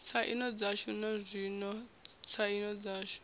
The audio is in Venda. tsaino dzashu nazwino tsaino dzashu